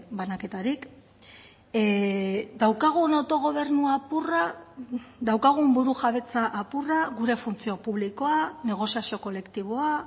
banaketarik daukagun autogobernu apurra daukagun burujabetza apurra gure funtzio publikoa negoziazio kolektiboa